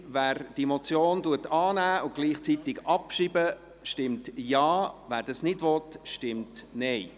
Wer diese Motion annimmt und gleichzeitig abschreibt, stimmt Ja, wer dies ablehnt, stimmt Nein.